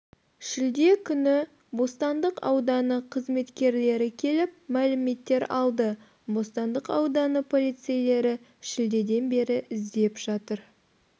шілде күні бостандық ауданы қызметкерлері келіп мәліметтер алды бостандық ауданы полицейлері шілдеден бері іздеп жатыр